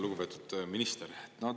Lugupeetud minister!